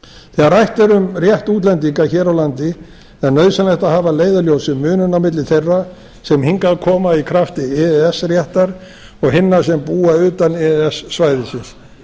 þegar rætt er um rétt útlendinga hér á landi er nauðsynlegt að hafa að leiðarljósi muninn á milli þeirra sem hingað koma í krafti e e s réttar og hinna sem búa utan e e s svæðisins